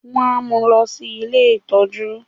wà á mú lọ sí “ ilé ìtọ́jú”.!